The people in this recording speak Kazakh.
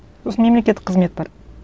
сосын мемлекеттік қызмет бар